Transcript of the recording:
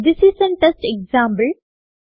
this is an test example